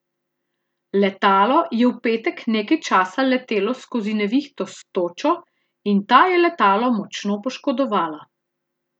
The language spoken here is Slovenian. Letalo je v petek nekaj časa letelo skozi nevihto s točo in ta je letalo močno poškodovala.